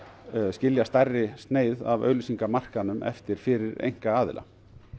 skilja stærri sneið af auglýsingamarkaðnum eftir fyrir einkaaðila